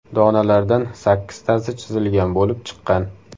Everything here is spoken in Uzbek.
Donalardan sakkiztasi chizilgan bo‘lib chiqqan.